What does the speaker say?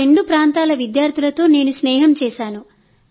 ఆ రెండు ప్రాంతాల విద్యార్థులతో నేను స్నేహం చేశాను